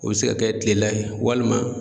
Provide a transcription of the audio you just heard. O bɛ se ka kɛ kilela ye walima.